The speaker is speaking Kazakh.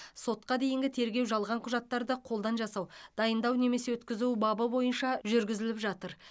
сотқа дейінгі тергеу жалған құжаттарды қолдан жасау дайындау немесе өткізу бабы бойынша жүргізіліп жатыр